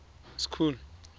school